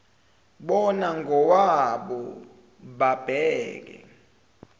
bona ngokwabo babheke